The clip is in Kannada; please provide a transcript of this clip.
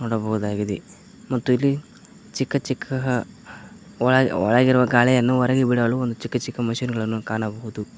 ನೋಡಬಹುದಾಗಿದೆ ಮತ್ತು ಇಲ್ಲಿ ಚಿಕ್ಕ ಚಿಕ್ಕ ಒಳ ಒಳಗಿರುವ ಗಾಳಿಯನ್ನು ಹೊರಗೆ ಬಿಡಲು ಚಿಕ್ಕ ಚಿಕ್ಕ ಮಷೀನ್ ಗಳನ್ನು ಕಾಣಬಹುದು.